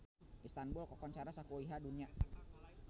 Istanbul kakoncara sakuliah dunya